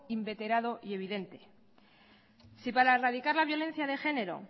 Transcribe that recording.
inveterado y evidente si para erradicar la violencia de género